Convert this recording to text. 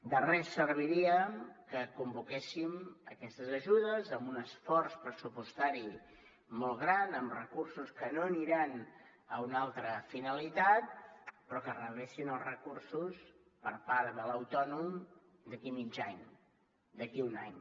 de res serviria que convoquéssim aquestes ajudes amb un esforç pressupostari molt gran amb recursos que no aniran a una altra finalitat però que es rebessin els recursos per part de l’autònom d’aquí a mig any d’aquí a un any